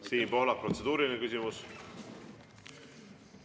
Siim Pohlak, protseduuriline küsimus.